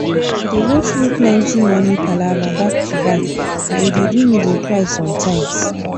i dey go through plenty money palava back to back and e dey do me dey cry sometimes